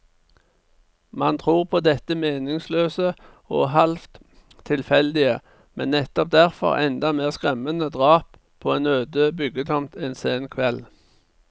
Man tror på dette meningsløse og halvt tilfeldige, men nettopp derfor enda mer skremmende drap på en øde byggetomt en sen kveld.